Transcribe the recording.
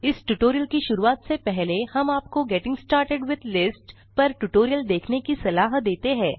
इस ट्यूटोरियल की शुरूआत से पहले हम आप को गेटिंग स्टार्टेड विथ लिस्ट्स पर ट्यूटोरियल देखने की सलाह देते हैं